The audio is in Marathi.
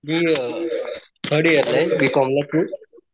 मी थर्ड इयर ला बी कॉम ला तू?